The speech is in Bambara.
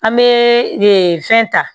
An bɛ fɛn ta